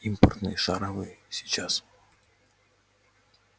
импортные шаровые сейчас